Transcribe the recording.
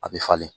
A bɛ falen